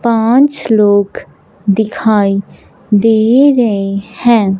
पांच लोग दिखाई दे रहे हैं।